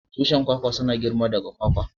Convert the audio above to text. Tushin kwakwa suna girma daga kwakwa.